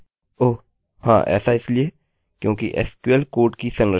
चलिए अब एक नाम हम मानते हैं जो हमारे डेटाबेस में है